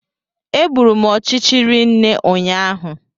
Egburu m ọchịchị rinne ụnyaahụ